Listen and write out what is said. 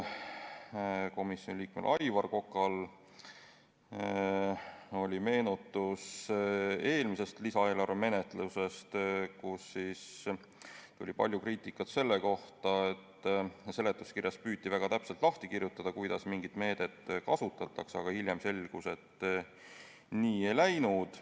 Komisjoni liikmel Aivar Kokal oli meenutus eelmise lisaeelarve menetlusest, kus tuli palju kriitikat selle kohta, et seletuskirjas püüti väga täpselt lahti kirjutada, kuidas mingit meedet kasutatakse, aga hiljem selgus, et nii ei läinud.